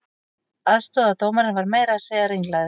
Aðstoðardómarinn var meira að segja ringlaður